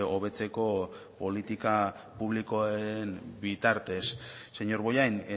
hobetzeko politika publikoen bitartez señor bollain